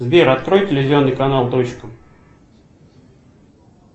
сбер открой телевизионный канал точка